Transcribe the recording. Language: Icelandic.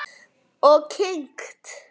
Og kyngt.